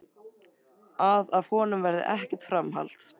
Að af honum verði ekkert framhald.